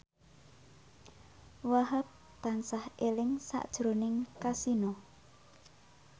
Wahhab tansah eling sakjroning Kasino